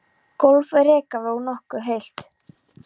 Gólf úr rekaviði og nokkuð heilt.